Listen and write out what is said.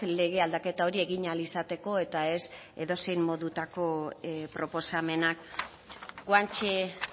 lege aldaketa hori egin ahal izateko eta ez edozein modutako proposamenak guanche